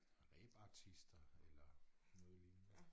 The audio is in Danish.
Rebartister eller noget lignende